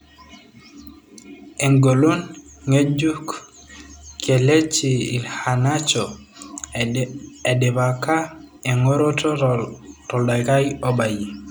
Engolon ngejuk Kelechi Iheanacho edipaka engoroto toldaikai obayie.